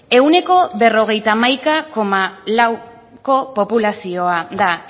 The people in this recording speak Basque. ehuneko berrogeita hamaika koma lauko populazioa da